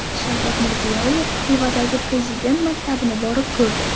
Shavkat Mirziyoyev Xivadagi Prezident maktabini borib ko‘rdi.